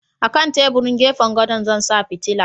A kan teburin gefen gadon Zan sa fitila